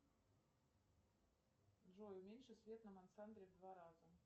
джой уменьши свет на мансарде в два раза